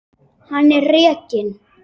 Hann er rekinn.